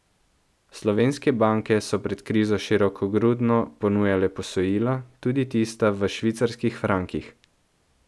Slovenske banke so pred krizo širokogrudno ponujale posojila, tudi tista v švicarskih frankih.